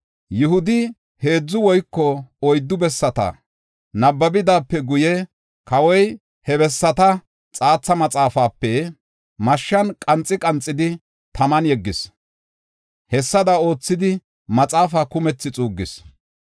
Yihudi heedzu woyko oyddu bessata nabbabidaape guye, kawoy he bessata xaatha maxaafape mashshan qanxi qanxidi, taman yeggis; hessada oothidi, maxaafa kumethi xuuggis.